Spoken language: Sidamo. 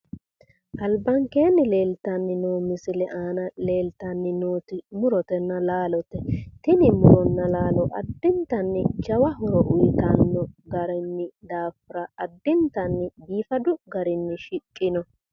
albankeenni leeltanno misile aana leeltanni nooti tini muronna laalote addintanni jawa horo uyiitanno garinni daafira addintanni biifadu garinni shiqqino.